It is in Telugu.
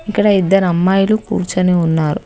ఇక్కడ ఇద్దరు అమ్మాయిలు కూర్చొని ఉన్నారు.